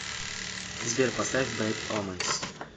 сбер поставь бэд омэнс